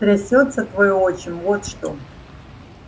трясётся твой отчим вот что